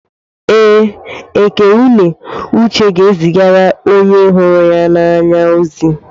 Ee, Eké-ùnè uche ga-ezigara onye hụrụ ya n'anya ozi.